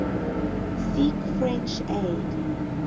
seek french aid